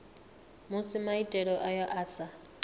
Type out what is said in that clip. musi maitele ayo a sa